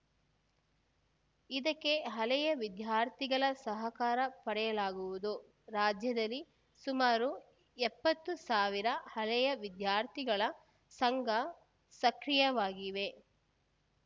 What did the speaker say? ಇದಕ್ಕೆ ಹಳೆಯ ವಿದ್ಯಾರ್ಥಿಗಳ ಸಹಕಾರ ಪಡೆಯಲಾಗುವುದು ರಾಜ್ಯದಲ್ಲಿ ಸುಮಾರು ಎಪ್ಪತ್ತು ಸಾವಿರ ಹಳೆ ವಿದ್ಯಾರ್ಥಿಗಳ ಸಂಘ ಸಕ್ರಿಯವಾಗಿವೆ